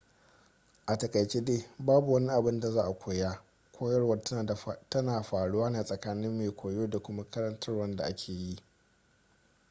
a takaice dai babu wani abun da za a koya koyarwa tana faruwa ne a tsakanin mai koyo da kuma karantarwar da ake yi